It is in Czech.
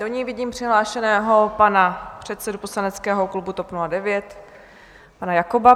Do ní vidím přihlášeného pana předsedu poslaneckého klubu TOP 09, pana Jakoba.